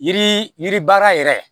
Yiri yiri baara yɛrɛ